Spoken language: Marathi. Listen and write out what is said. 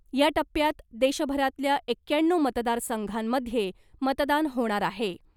या टप्प्यात देशभरातल्या एक्क्याण्णव मतदार संघांमध्ये मतदान होणार आहे .